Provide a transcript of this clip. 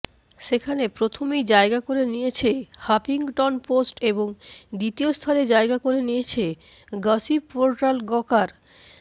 সেখানে প্রথমেই জায়গা করে নিয়েছে হাফিংটনপোস্ট এবং দ্বিতীয় স্থানে জায়গা করে নিয়েছে গসিপ পোর্টাল গকার